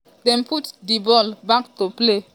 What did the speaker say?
dem put di ball back to play.